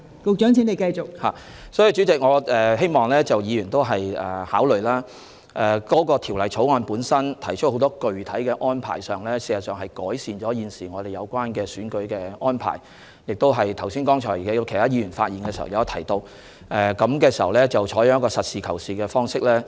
所以，代理主席，我希望議員考慮，《條例草案》提出很多具體的建議，事實上是改善了現時的選舉安排，剛才有議員發言時亦提到，應採取實事求是的態度。